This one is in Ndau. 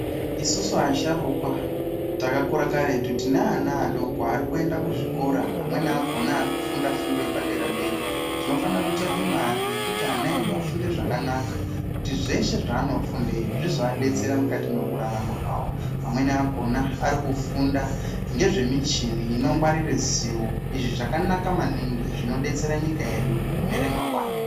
Isusu asharukwa takakura karetu tine ana adoko arikuenda kuzvikora, amweni akona arikufunda fundo yepadera-dera. Tinofanira kutsvake mare yekuti ana edu afunde zvakanaka. Kuti zvese zvaanofundeyo zvizoadetsera mukati mekurarama kwavo. Amweni akona arikufunda ngezvemichini inongwarire zivo. Izvi zvakanaka maningi, zvinodetsera nyika yedu mune ramangwana.